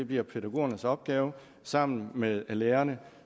bliver pædagogernes opgave sammen med lærerne